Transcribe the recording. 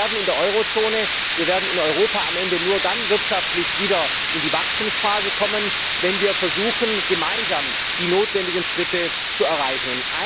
Wir werden in der Eurozone, in Europa, am Ende nur dann wirtschaftlich wieder in die Wachstumsphase kommen, wenn wir versuchen, gemeinsam die notwendigen Schritte zu erreichen.